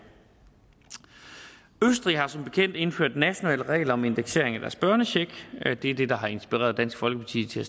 østrig har som bekendt indført nationale regler om indeksering af deres børnecheck det er det der har inspireret dansk folkeparti til at